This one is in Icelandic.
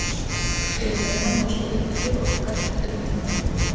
Hér að neðan má sjá uppgjör okkar eftir umferðina.